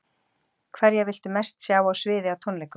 Hverja viltu mest sjá á sviði á tónleikum?